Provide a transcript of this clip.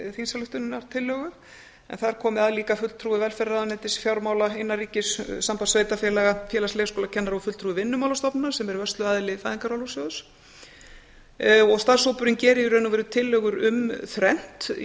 þingsályktunartillögu en þar komi að líka fulltrúi velferðarráðuneytis fjármála innanríkis samband sveitarfélaga félags leikskólakennara og fulltrúi vinnumálastofnunar sem er vörsluaðili fæðingarorlofssjóðs starfshópurinn gerir í raun og veru tillögur um þrennt í